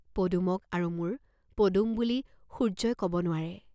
পদুমক আৰু মোৰ পদুম বুলি সূৰ্য্যই কব নোৱৰে!